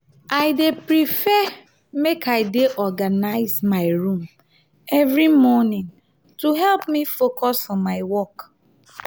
i dey prefer make i dey organize my room every morning to help me focus for my work.